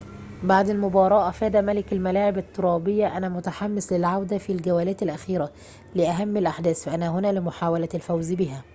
بعد المباراة أفاد ملك الملاعب الترابية أنا متحمس للعودة في الجولات الأخيرة لأهم الأحداث فأنا هنا لمحاولة الفوز بهذا